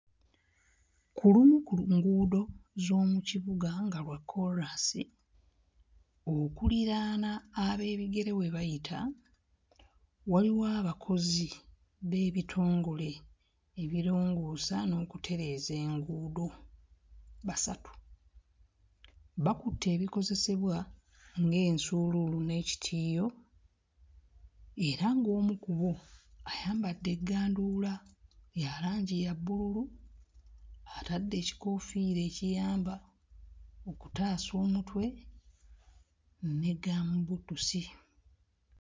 Ku lumu ku lu nguudo z'omu kibuga nga lwa kkoolaasi okuliraana ab'ebigere we bayita waliwo abakozi b'ebitongole ebirongoosa n'okutereeza enguudo basatu bakutte ebikozesebwa ng'ensuuluulu n'ekitiiyo era ng'omu ku bo ayambadde egganduula ya langi ya bbululu atadde ekikoofiira ekiyamba okutaasa omutwe ne gambuutusi.